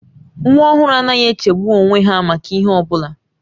Nwa ọhụrụ anaghị echegbu onwe ha maka ihe ọbụla